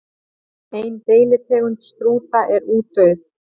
Ein deilitegund strúta er útdauð.